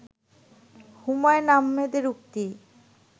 হুমায়ূন আহমেদের উক্তি